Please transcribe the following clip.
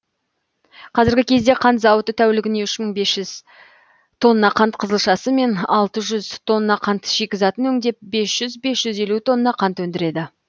қазіргі кезде қант зауыты тәулігіне үш мың бес жүз тонна қант қызылшасы мен алты жүз тонна қант шикізатын өңдеп бес жүз бес жүз елу тонна қант өндіреді